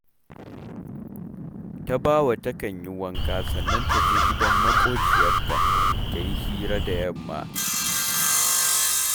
Tabawa takan yi wanka sannan ta je gidan maƙociyarta ta yi hira da yamma